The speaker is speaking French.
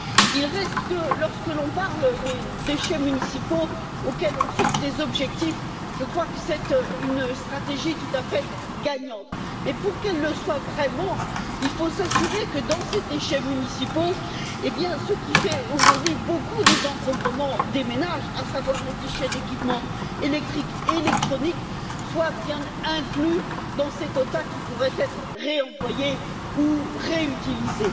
Il reste que, lorsque l'on parle des déchets municipaux pour lesquels on fixe des objectifs, je crois que c'est une stratégie tout à fait gagnante, mais pour qu'elle le soit vraiment, il faut s'assurer que, dans ces déchets municipaux, ce qui fait aujourd'hui une grande partie des encombrements des ménages à savoir les déchets d'équipements électriques, et électroniques soit bien inclus dans ces quotas qui pourraient être réemployés ou réutilisés.